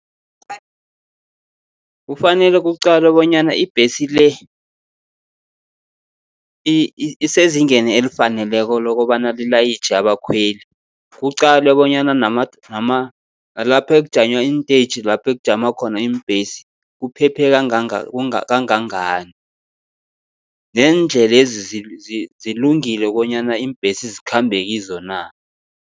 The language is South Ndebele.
Kufanele kuqalwe bonyana ibhesi le, isezingeni elifaneleko lokobana lilayitjhe abakhweli. Kuqalwe bonyana nalapha ekujanywa inteyitjhi lapho ekujama khona iimbhesi, kuphephe kangangani. Neendlelezi zilungile konyana iimbhesi zikhambe kizo na.